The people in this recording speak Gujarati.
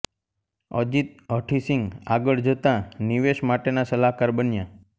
અજીત હઠીસિંગ આગળ જતા નિવેશ માટેના સલાહકાર બન્યા